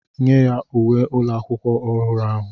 nye ya uwe ụlọ akwụkwọ ọhụrụ ahụ